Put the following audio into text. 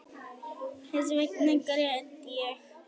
Þessvegna grét ég